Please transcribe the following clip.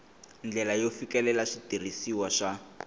ndlela yo fikelela switirhisiwa swa